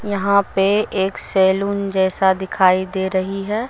यहां पे एक सैलून जैसा दिखाई दे रही है।